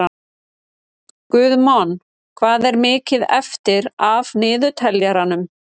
Guðmon, hvað er mikið eftir af niðurteljaranum?